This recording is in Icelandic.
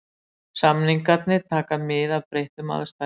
Samningarnir taka mið af breyttum aðstæðum.